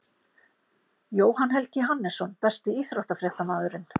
jóhann helgi hannesson Besti íþróttafréttamaðurinn?